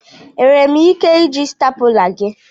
Enwere m ike iji stapula gi?